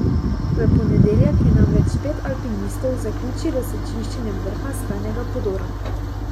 V ponedeljek je namreč pet alpinistov zaključilo s čiščenjem vrha skalnega podora.